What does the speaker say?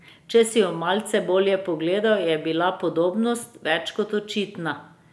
Če si ju malce bolje pogledal, je bila podobnost več kot očitna.